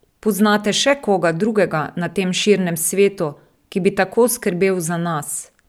Poznate še koga drugega na tem širnem svetu, ki bi tako skrbel za nas?